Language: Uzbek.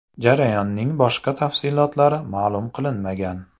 Jarayonning boshqa tafsilotlari ma’lum qilinmagan.